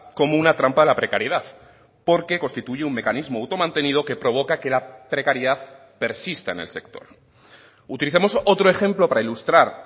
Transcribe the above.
como una trampa de la precariedad porque constituye un mecanismo automantenido que provoca que la precariedad persista en el sector utilicemos otro ejemplo para ilustrar